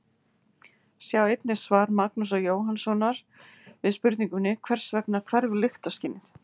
Sjá einnig svar Magnúsar Jóhannssonar við spurningunni Hvers vegna hverfur lyktarskynið?